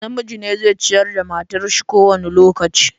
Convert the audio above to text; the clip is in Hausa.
Namiji ne zai ciyar da matar shi kowane lokaci.